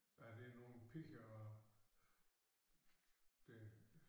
Hvad er det nogle piger og det